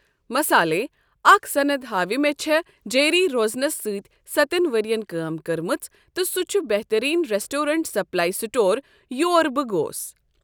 مَسالے، اكھ صند ہاوِ مے٘ چھے٘ جیری روزنس سٕتۍ سَتن ورین كٲم كٕرمٕژ تہٕ سٗہ چھٗ بہترین ریسٹورنٹ سپلایہ سٹور یور بہٕ گوس۔